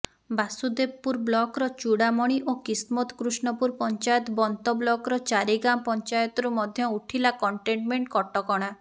ବାସୁଦେବପୁର ବ୍ଲକର ଚୁଡାମଣି ଓ କିସ୍ମତକୃଷ୍ଣପୁର ପଞ୍ଚାୟତ ବନ୍ତ ବ୍ଲକର ଚାରିଗାଁ ପଞ୍ଚାୟତରୁ ମଧ୍ୟ ଉଠିଲା କଣ୍ଟେନମେଣ୍ଟ କଟକଣା